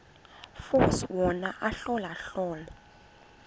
force wona ahlolahlole